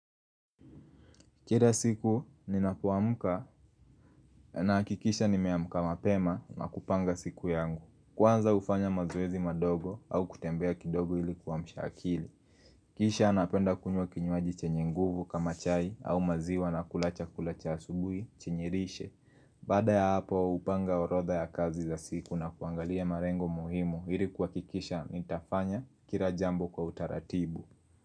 Kila siku ninapuamuka na hakikisha nimeamka mapema na kupanga siku yangu. Kwanza ufanya mazoezi madogo au kutembea kidogo ilikuwa mshakili Kisha napenda kunywa kinyuaji chenye nguvu kama chai au maziwa na kula chakula cha asubui chenyirishe Baada ya hapo upanga orotha ya kazi za siku na kuangalia marengo muhimu ilikuwa kuhakikisha nitafanya kila jambo kwa utaratibu.